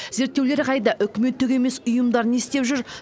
зерттеулер қайда үкіметтік емес ұйымдар не істеп жүр